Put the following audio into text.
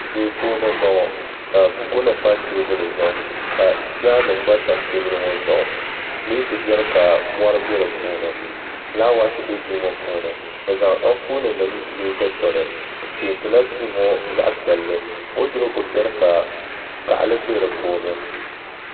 duu puuni n bɔŋɔ ka buku nim pa teebuli zuɣu ka nim gba tam teebuli ŋɔ zuɣu pilɛt biɛni ka mɔri bɛ di puuni fulaawɛs bɛ duu ŋɔ puuni bi zaŋ Anfooni nim yili dikpuni bi peentila duu ŋɔ zaɣ piɛlli woodurop biɛni ka gaɣali bɛ di puuni